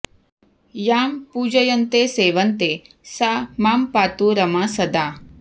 यां पूजयन्ते सेवन्ते सा मां पातु रमा सदा